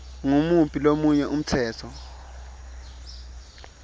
ngumuphi lomunye umtsetfo